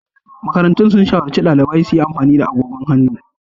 Makarantun sun shawarci daliban su yi amfani da agogon hannu.